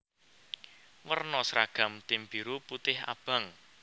Werna sragam tim biru putih abang